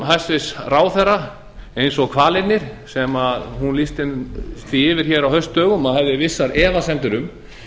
hæstvirtur ráðherra eins og hvalirnir sem hún lýsti yfir á haustdögum að hefði vissar efasemdir um